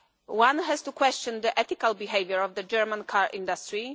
One has to question the ethical behaviour of the German car industry.